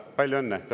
Palju õnne!